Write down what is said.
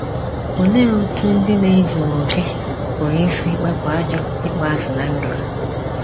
Olee otú ndị na-ezughị okè pụrụ isi wepụ ajọ ịkpọasị ná ndụ ha?